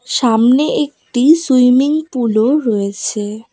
সামনে একটি swimming pool -ও রয়েছে।